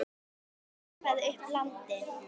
og keipaði upp að landi.